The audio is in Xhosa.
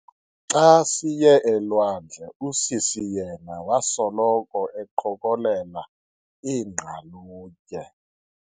Xa siye elwandle usisi yena wasoloko eqokelela iingqalutye.